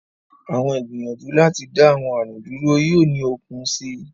Awọn igbiyanju lati da awọn arun dúrú yoo ni okun sii